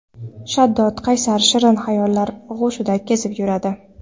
Shaddod, qaysar, shirin hayollar og‘ushida kezib yuradi.